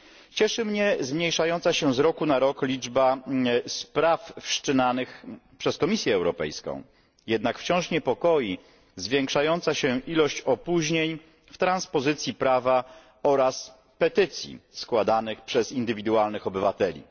Cieszy mnie zmniejszająca się z roku na rok liczba spraw wszczynanych przez Komisję Europejską, jednak wciąż niepokoi zwiększająca się ilość opóźnień w transpozycji prawa oraz petycji składanych przez indywidualnych obywateli.